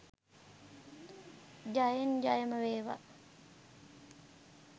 ජයෙන් ජයම වේවා.